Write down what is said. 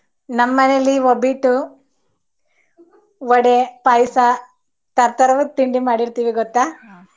ನಮ್ ಮನೇಲಿ ಓಬಿಟ್ಟು, ವಡೆ, ಪಾಯಸ, ತರ್~ ತರಾವರಿ ತಿಂಡಿ ಮಾಡಿರ್ತಿವಿ ಗೊತ್ತಾ .